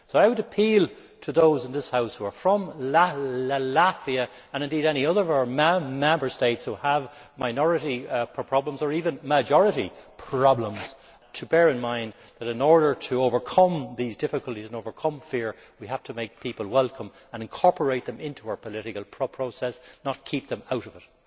So I would appeal to those in this House who are from Latvia and indeed from any other of our Member States that have minority, or even majority, problems to bear in mind that, in order to overcome these difficulties and to overcome fear, we have to make people welcome and incorporate them into our political process, not keep them out of it.